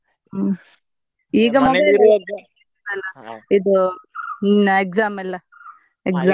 ಹ್ಮ್‌ ಈಗ ಇದು ಹ್ಮ್‌ exam ಎಲ್ಲಾ exam .